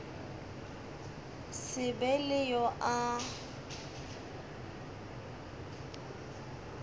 se be le yo a